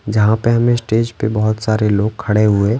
जहाँ पर हमें स्टेज पर बहुत सारे लोग खड़े हुए--